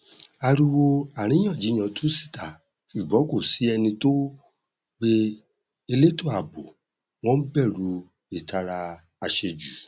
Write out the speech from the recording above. ariwo àríyànjiyàn tú síta ṣùgbọn kò sí ẹni tó pe eléto ààbò wọn n bẹrù ìtara àṣejù